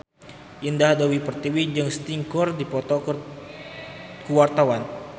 Indah Dewi Pertiwi jeung Sting keur dipoto ku wartawan